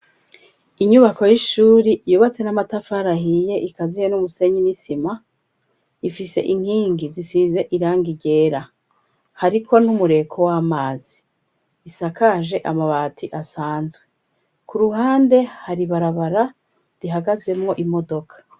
Inyubako y'ishuri yobatse n'amatafarahiye ikaziye n'umusenyi n'isima ifise inkingi zisize iranga iryera hariko ntumureko w'amazi isakaje amabati asanzwe ku ruhande haribarabara rihagazemwo imodoka.